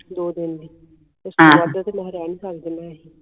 ਦੋ ਦਿਨ ਲਈ ਤੇ ਮੈਂ ਕਿਹਾ ਰਹਿ ਨਹੀਂ ਸਕਦੇ ਮੈਂ ਇਹੇ